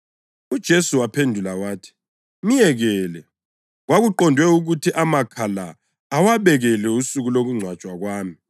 UJesu waphendula wathi, “Myekele. Kwakuqondwe ukuthi amakha la awabekele usuku lokungcwatshwa kwami.